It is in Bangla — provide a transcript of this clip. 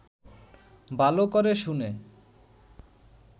ভালো করে শুনে